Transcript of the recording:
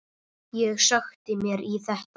Ég sökkti mér í þetta.